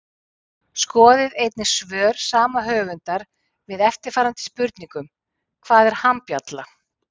Skoðið einnig svör sama höfundar við eftirfarandi spurningum Hvað er hambjalla?